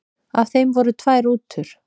Af þeim voru tvær rútur.